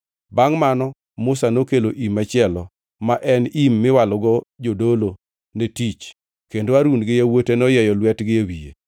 Bangʼ mano Musa nokelo im machielo, ma en im miwalogo jodolo ne tich kendo Harun gi yawuote noyieyo lwetgi e wiye.